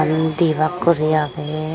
eyan di bak guri agey.